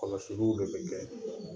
Kɔlɔsiliw de bɛ kɛ.